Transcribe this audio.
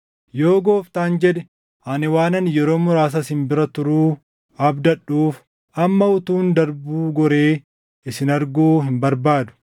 Yoo Gooftaan jedhe ani waanan yeroo muraasa isin bira turuu abdadhuuf, amma utuun darbuu goree isin arguu hin barbaadu.